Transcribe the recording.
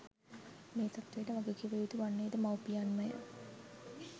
මේ තත්ත්වයට වග කිවයුතු වන්නේ ද මවුපියන්මය